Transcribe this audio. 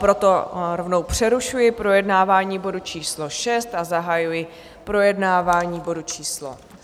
Proto rovnou přerušuji projednávání bodu číslo 6 a zahajuji projednávání bodu číslo